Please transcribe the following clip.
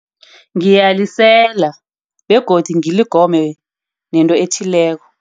Ngiyalisela begodu ngilegome nento ethileko.